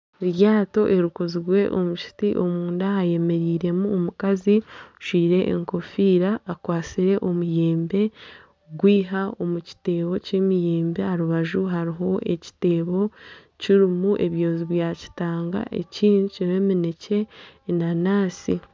Eryato erikozirwe omu kiti omunda hayemereiremu omukazi ajwaire enkofiira akwatsire omuyembe kugwiha omu kiteebo ky'emiyembe aha rubaju hariho ekiteebo kirimu ebyozi bya kitanga ekindi kirimu eminekye, enanansi.